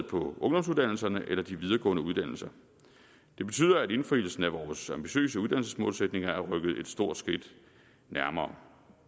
på ungdomsuddannelserne eller de videregående uddannelser det betyder at indfrielsen af vores ambitiøse uddannelsesmålsætninger er rykket et stort skridt nærmere